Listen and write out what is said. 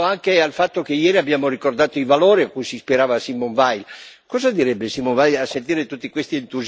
Riflettiamo su questo, magari pensando anche al fatto che ieri abbiamo ricordato i valori a cui si ispirava Simone Veil.